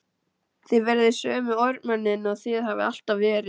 Þið verðið sömu ormarnir og þið hafið alltaf verið.